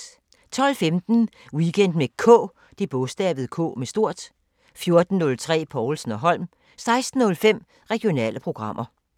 12:15: Weekend med K 14:03: Povlsen & Holm 16:05: Regionale programmer